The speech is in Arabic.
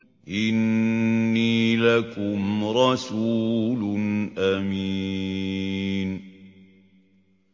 إِنِّي لَكُمْ رَسُولٌ أَمِينٌ